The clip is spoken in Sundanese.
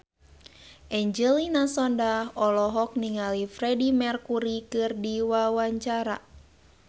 Angelina Sondakh olohok ningali Freedie Mercury keur diwawancara